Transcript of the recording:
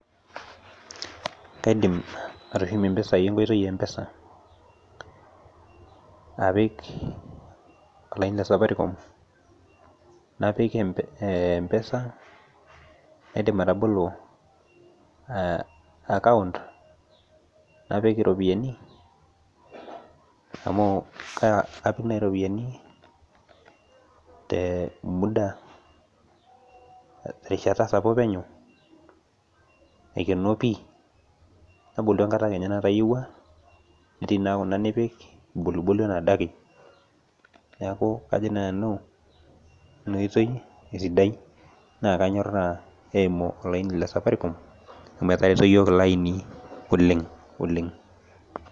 Kaidim atushumie mpisai enkoitoi e mpesa apik olaini le Safaricom napik empesa naidim atabolo account naidim atipika ropiyani amu kapik naibiropiyani terishata sapuk penyo aikenoo pii nabolu enkata natayiewua, netiibkuna kulie nabolubolu neaku kajo nanu na kanyoraa eimu olaini le Safaricom amu etareto yiok iloaini oleng oleng.